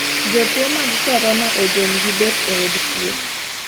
Jotuo mag Korona ojony gi bet e od thieh.